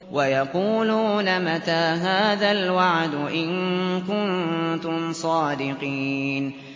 وَيَقُولُونَ مَتَىٰ هَٰذَا الْوَعْدُ إِن كُنتُمْ صَادِقِينَ